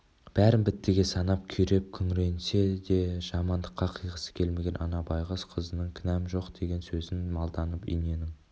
бәрін біттіге санап күйреп күңіренсе де жамандыққа қиғысы келмеген ана байқұс қызының кінәм жоқ деген сөзін малданып иненің